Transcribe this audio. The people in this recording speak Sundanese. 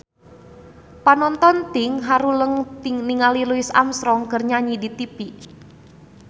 Panonton ting haruleng ningali Louis Armstrong keur nyanyi di tipi